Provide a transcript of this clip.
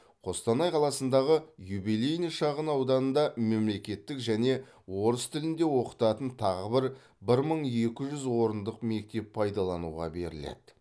қостанай қаласындағы юбилейный шағын ауданында мемлекеттік және орыс тілінде оқытатын тағы бір бір мың екі жүз орындық мектеп пайдалануға беріледі